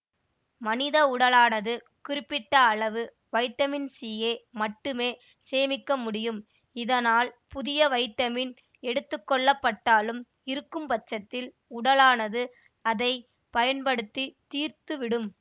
மனித உடலானது குறிப்பிட்ட அளவு வைட்டமின் சியை மட்டுமே சேமிக்க முடியும் இதனால் புதிய வைட்டமின் எடுத்துக்கொள்ளப்பட்டாலும் இருக்கும்பட்சத்தில் உடலானது அதை பயன்படுத்தி தீர்த்துவிடும்